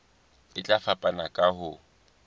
e tla fapana ka ho